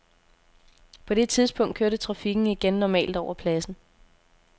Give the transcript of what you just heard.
På det tidspunkt kørte trafikken igen normalt over pladsen.